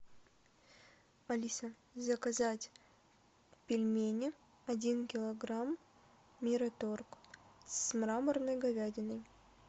алиса заказать пельмени один килограмм мираторг с мраморной говядиной